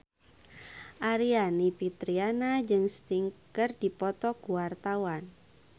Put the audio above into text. Aryani Fitriana jeung Sting keur dipoto ku wartawan